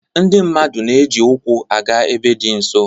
Ndị mmadụ na-eji ụkwụ aga ebe dị nso